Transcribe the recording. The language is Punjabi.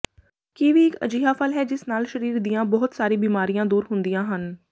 ਕੀਵੀ ਇੱਕ ਅਜਿਹਾ ਫਲ ਹੈ ਜਿਸ ਨਾਲ ਸ਼ਰੀਰ ਦੀਆਂ ਬਹੁਤ ਸਾਰੀ ਬੀਮਾਰੀਆਂ ਦੂਰ ਹੁੰਦੀਆਂ ਹਨ